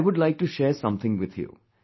I would like to share something with you